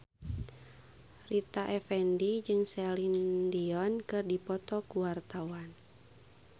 Rita Effendy jeung Celine Dion keur dipoto ku wartawan